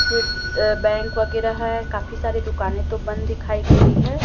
सिर्फ बैंक वगैरह है काफी सारी दुकानें तो बंद दिखाई दे रही है।